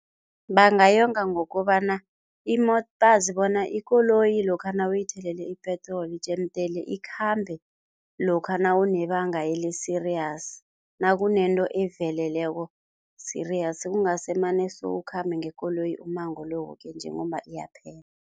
Bangayonga ngokobana bona ikoloyi lokha nawuyithele ipetroli jemdele ikhambe lokha nawunebanga eli-serious, nakunento eveleleko-serious, kungasemane sowukhambe ngekoloyi umango lo woke nje ngomba iyaphela.